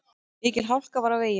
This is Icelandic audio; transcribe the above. Mikil hálka var á veginum.